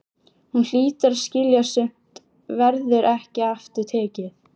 Hún hlýtur að skilja að sumt verður ekki aftur tekið.